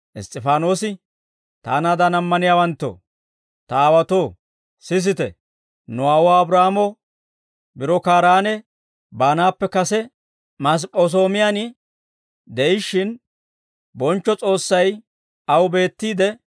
Iss's'ifaanoosi, «Taanaadan ammaniyaawanttoo, ta aawaatoo, sisite! Nu aawuwaa Abraahaamo biro Kaaraane baanaappe kase Masip'p'es'oomiyan de'ishshin, bonchcho S'oossay aw beettiide,